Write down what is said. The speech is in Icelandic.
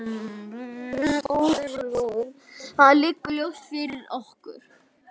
Það liggur ljóst fyrir.